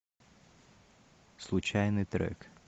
случайный трек